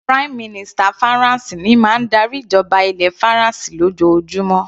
Prime minister Faransé ní máa ń darí ìjọba ilẹ̀ faransé lójoojúmó.